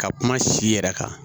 Ka kuma si yɛrɛ kan